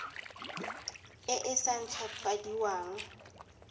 e e sa nt hwafadiweng